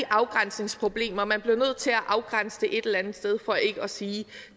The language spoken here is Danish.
afgrænsningsproblemer og man bliver nødt til at afgrænse det et eller andet sted for ikke at sige